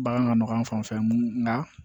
Bagan ka nɔgɔ an fan fɛ mun na